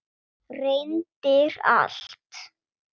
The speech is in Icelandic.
Reyndir allt.